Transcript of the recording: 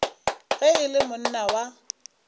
ge e le monna wa